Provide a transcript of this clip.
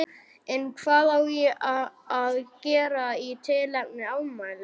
En hvað á að gera í tilefni afmælisins?